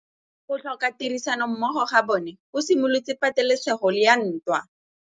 Go tlhoka tirsanommogo ga bone go simolotse patêlêsêgô ya ntwa.